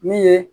Min ye